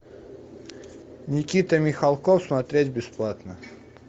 никита михалков смотреть бесплатно